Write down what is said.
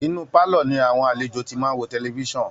Inú pálọ̀ ni àwọn alejò ti máa ń wo tẹlifíṣan